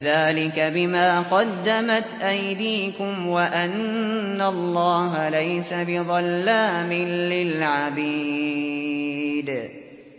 ذَٰلِكَ بِمَا قَدَّمَتْ أَيْدِيكُمْ وَأَنَّ اللَّهَ لَيْسَ بِظَلَّامٍ لِّلْعَبِيدِ